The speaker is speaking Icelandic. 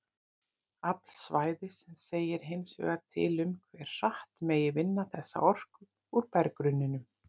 Afl svæðis segir hins vegar til um hve hratt megi vinna þessa orku úr berggrunninum.